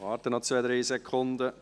Ich warte noch zwei, drei Sekunden.